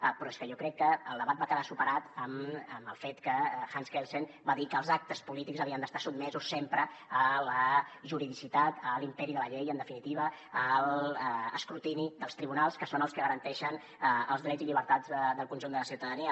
però és que jo crec que el debat va quedar superat amb el fet que hans kelsen va dir que els actes polítics havien d’estar sotmesos sempre a la juridicitat a l’imperi de la llei i en definitiva a l’escrutini dels tribunals que són els que garanteixen els drets i llibertats del conjunt de la ciutadania